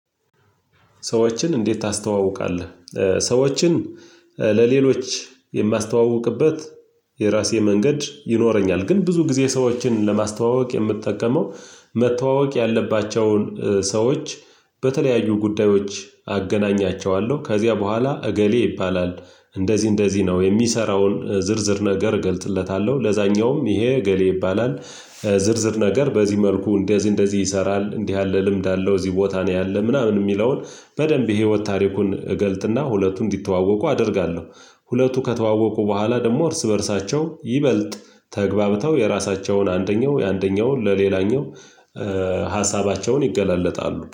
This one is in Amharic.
ሰዎችን እንዴት ታስተዋውቃለህ? ሰዎችን ለሌሎች የማስተዋውቅበት የራሴ መንገድ ይኖረኛል ግን ብዙ ጊዜ ሰዎችን ለማስተዋወቅ የምትጠቀመው መተዋወቅ ያለባቸውን ሰዎች በተለያዩ ጉዳዮች አገናኛቸዋለሁ ከዚያ በኋላ እገሌ ይባላል እንደዚህ እንደዚህ ነው የሚሰራውን ዝርዝር ነገር እገልጽለታለሁ ለዛኛውም ይሄ እገሌ ይባላል ዝርዝር ነገር በዚህ መልኩ እንደዚህ እንደዚህ ይሰራል እንዲህ ያለ ልምድ አለው እዚህ ቦታ ነው ያለ ምናምን የሚለውን በደንብ የህይወት ታሪኩን እገልጥና ሁለቱን እንዲተዋወቁ አደርጋለሁ። ሁለቱ ከተዋወቁ በኋላ ደግሞ እርስ በእርሳቸው ይበልጥ ተገባብተው የራሳቸውን አንደኛው የአንደኛውን ለሌላኛው ሀሳባቸውን ይገላለጣሉ